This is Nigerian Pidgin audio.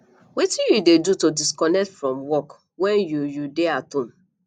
wetin you dey do to disconnect from work when you you dey at home